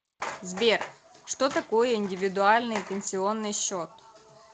сбер что такое индивидуальный пенсионный счет